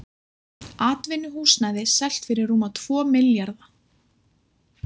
Atvinnuhúsnæði selt fyrir rúma tvo milljarða